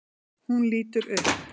Hún lítur upp.